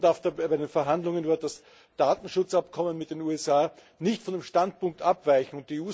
Die Kommission darf bei den Verhandlungen über das Datenschutzabkommen mit den USA nicht von dem Standpunkt abweichen.